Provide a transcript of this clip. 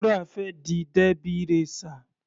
Wura fẹ́ di Derby racer.